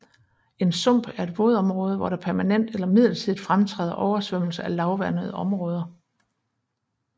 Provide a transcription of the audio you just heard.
En sump er et vådområde hvor der permanent eller midlertidigt fremtræder oversvømmelse af lavvandede områder